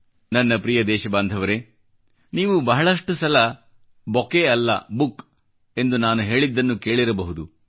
ನನ್ನ ಪ್ರಿಯ ದೇಶಬಾಂಧವರೆ ನೀವು ಬಹಳಷ್ಟು ಸಲ ಬೊಕೆ ಅಲ್ಲ ಬುಕ್ ಎಂದು ನಾನು ಹೇಳಿದ್ದನ್ನು ಕೇಳಿರಬಹುದು